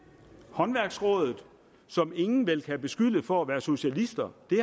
håndværksrådet som ingen vel kan beskylde for at være socialister det